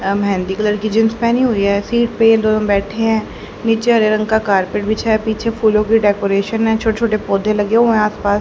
यह मेहंदी कलर की जिंस पहिनी हुईं हैं सीट पे ये दोनो बैठे हैं नीचे हरे रंग का कार्पेट बिछा है पीछे फूलों की डेकोरेशन है छोटे छोटे पौधे लगे हुए आस पास--